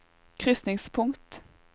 krysningspunkt